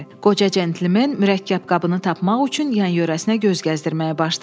Qoca centlmen mürəkkəb qabını tapmaq üçün yan-yörəsinə göz gəzdirməyə başladı.